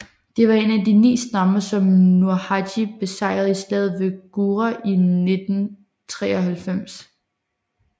De var en af de ni stammer som Nurhaci besejrede i slaget ved Gure i 1593